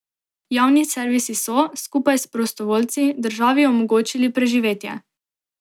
Javni servisi so, skupaj s prostovoljci, državi omogočili preživetje.